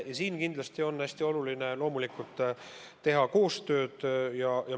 Kindlasti on hästi oluline teha koostööd.